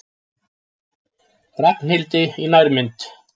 Ragnhildi í nærmynd.